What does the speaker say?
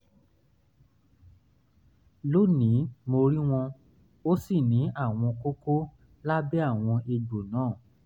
lónìí mo rí wọn ó sì ní àwọn kókó lábẹ́ àwọn egbò náà